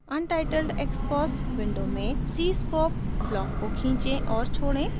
untitled xcos window में cscope block को खींचें और छोड़ें